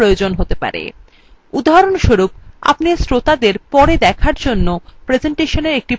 উদাহরণস্বরূপ আপনি শ্রোতাদের পরে দেখার জন্য প্রেসেন্টেশনfor প্রতিলিপি দিতে চাইতে পারেন